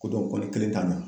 Ko dɔn ko ne kelen t'a ɲa